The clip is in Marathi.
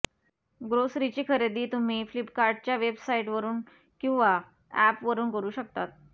ग्रोसरीची खरेदी तुम्ही फ्लिपकार्टच्या वेबसाईटवरुन किंवा अॅपवरुन करु शकतात